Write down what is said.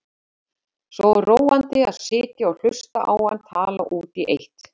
Svo róandi að sitja og hlusta á hann tala út í eitt.